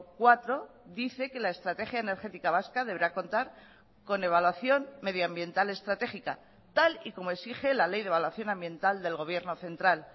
cuatro dice que la estrategia energética vasca deberá contar con evaluación medioambiental estratégica tal y como exige la ley de evaluación ambiental del gobierno central